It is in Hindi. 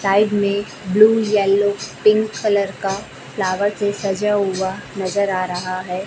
साईड में ब्लू येलो पिंक कलर का फ्लावर से सजा हुआ नजर आ रहा है।